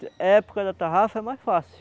A época da tarrafa é mais fácil.